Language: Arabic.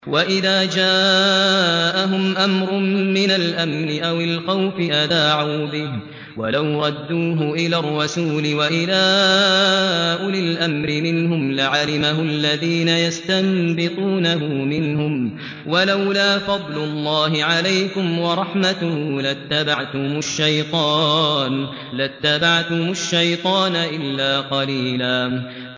وَإِذَا جَاءَهُمْ أَمْرٌ مِّنَ الْأَمْنِ أَوِ الْخَوْفِ أَذَاعُوا بِهِ ۖ وَلَوْ رَدُّوهُ إِلَى الرَّسُولِ وَإِلَىٰ أُولِي الْأَمْرِ مِنْهُمْ لَعَلِمَهُ الَّذِينَ يَسْتَنبِطُونَهُ مِنْهُمْ ۗ وَلَوْلَا فَضْلُ اللَّهِ عَلَيْكُمْ وَرَحْمَتُهُ لَاتَّبَعْتُمُ الشَّيْطَانَ إِلَّا قَلِيلًا